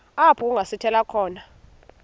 apho kungasithela khona